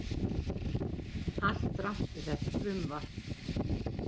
Allt rangt við þetta frumvarp